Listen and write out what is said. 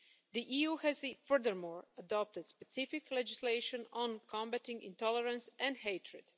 The EU has furthermore adopted specific legislation on combating intolerance and hatred.